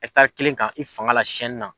E ka taa kelen kan i fanga la siɛn nin na.